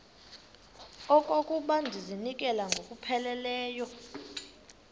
okokuba ndizinikele ngokupheleleyo